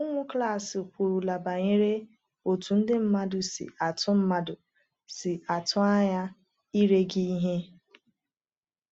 “Ụmụ klas kwurula banyere otú ndị mmadụ si atụ mmadụ si atụ anya ire gị ihe.”